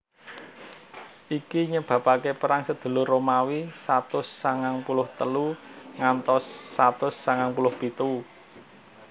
Iki nyebabaké Perang Sadulur Romawi satus sangang puluh telu nganti satus sangang puluh pitu